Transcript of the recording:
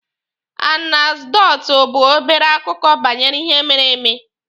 Anekdotu bụ obere akụkọ banyere ihe mere eme.